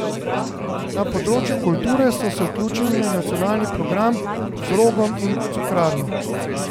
Na področju kulture so se vključili v nacionalni program z Rogom in Cukrarno.